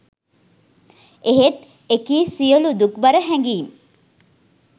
එහෙත් එකී සියලූ දුක්බර හැඟීම්